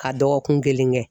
Ka dɔgɔkun kelen kɛ.